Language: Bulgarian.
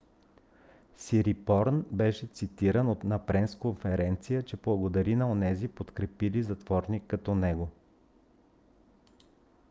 "сирипорн беше цитиран на пресконферениця че благодари на онези подкрепили затворник като него